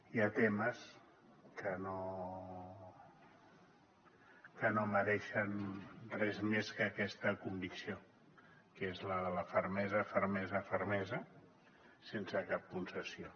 hi ha temes que no mereixen res més que aquesta convicció que és la de la fermesa fermesa fermesa sense cap concessió